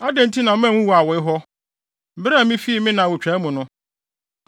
“Adɛn nti na manwu awoe hɔ, bere a mifi me na awotwaa mu no?